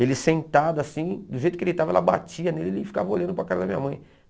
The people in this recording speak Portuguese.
Ele sentado assim, do jeito que ele estava, ela batia nele e ele ficava olhando para a cara da minha mãe.